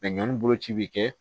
ɲɔn boloci bi kɛ